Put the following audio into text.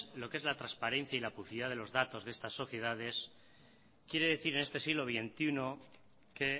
lo que es la transparencia y la publicidad de los datos de estas sociedades quiere decir en este siglo veintiuno que